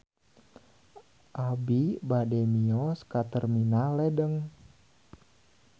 Abi bade mios ka Terminal Ledeng